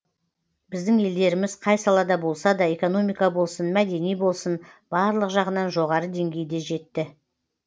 біздің елдеріміз қай салада болса да экономика болсын мәдени болсын барлық жағынан жоғары деңгейге жетті